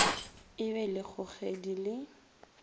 e be le kgogedi le